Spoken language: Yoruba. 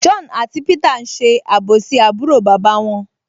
John àti Peter n ṣe àbòsí àbúrò bàbá wọn